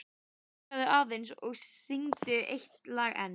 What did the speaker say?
Hinkraðu aðeins og syngdu eitt lag enn.